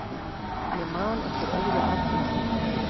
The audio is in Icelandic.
Ég man eftir öðru atviki.